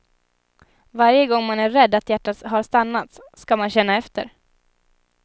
Varje gång man är rädd att hjärtat har stannat ska man känna efter.